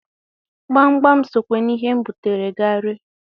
Gbamgbam sokwa n'ihe m butara m ga-ere.